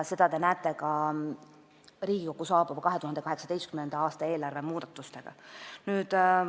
Seda te näete ka Riigikokku saabunud 2018. aasta eelarve muudatustest.